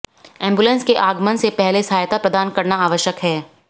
ambulance के आगमन से पहले सहायता प्रदान करना आवश्यक है